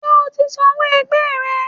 ṣe ọ tí sanwó ẹgbẹ rẹ?